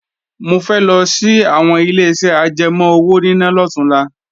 Mo fẹ́ lọ sí àwọn Ileṣẹ́ ajẹmọ́ owóníná lọ̀túnla